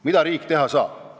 Mida riik teha saab?